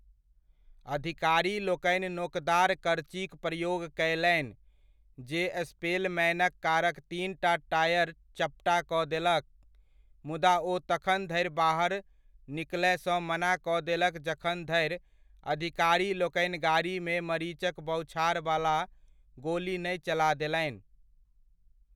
अधिकारीलोकनि नोकदार करचीक प्रयोग कयलनि जे स्पेलमैनक कारक तीनटा टायर चपटा कऽ देलक, मुदा ओ तखन धरि बाहर निकलयसँ मना कऽ देलक जखन धरि अधिकारीलोकनि गाड़ीमे मरीचक बौछारवला गोली नहि चला देलनि।